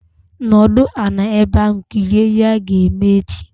Nọdụ ala ebe ahu! Kirie ihe ha ga-eme echi